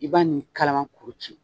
I b'a nin kalaman kuru ci